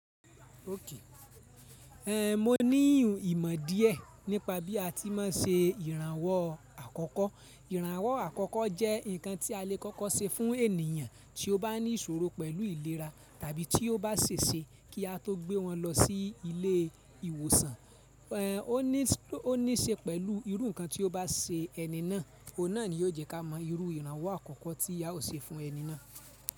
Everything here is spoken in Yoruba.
Mo níyùn ìmọ̀ díẹ nípa bí a ti má n se ìrànwọ́ àkọ́kọ́. Ìrànwọ́ àkọ́kọ́ jẹ́ ǹkan tí a le kọ́kọ́ ṣe fún ènìyàn tí ó bá ní ìṣòro pẹ̀lú ìlera tàbí tí ó bá ṣe se kí a tó gbé wọn lọ sí ilé ìwòsàn. O ni o ní ṣe pẹ̀lú irú ǹkan tí ó bá ṣe ẹni náà, óhun náà ni yóò jẹ́ ká mọ irú ìrànwọ́ àkọ́kọ́ tí a ó ṣe fún ẹni náà.